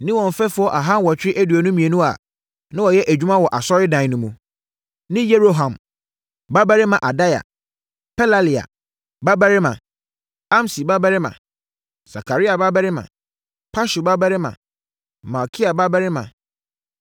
ne wɔn mfɛfoɔ aha nwɔtwe aduonu mmienu (822) a, na wɔyɛ adwuma wɔ Asɔredan no mu, ne Yeroham babarima Adaia, Pelalia babarima, Amsi babarima, Sakaria babarima, Pashur babarima, Malkia babarima